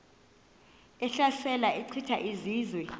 ehlasela echitha izizwe